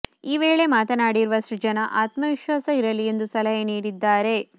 ಈ ವೇಳೆ ಮಾತನಾಡಿರುವ ಸೃಜನಾ ಆತ್ಮವಿಶ್ವಾಸ ಇರಲಿ ಎಂದು ಸಲಹೆ ನೀಡಿದ್ದಾರೆ